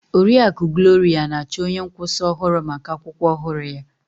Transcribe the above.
Oriakụ Gloria na-achọ onye nkwụsa ọhụrụ maka akwụkwọ ọhụrụ ya.